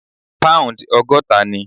Pound ogọ́ta ni.